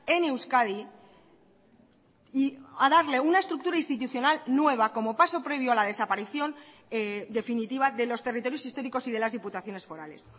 en euskadi y a darle una estructura institucional nueva como paso previo a la desaparición definitiva de los territorios históricos y de las diputaciones forales